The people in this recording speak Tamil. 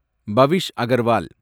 பவிஷ் அகர்வால்